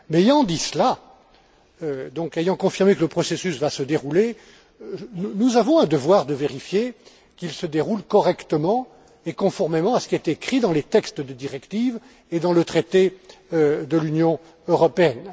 Mais, ayant dit cela, ayant donc confirmé que le processus va se dérouler, nous avons un devoir de vérifier qu'il se déroule correctement et conformément à ce qui est écrit dans les textes des directives et dans le traité de l'Union européenne.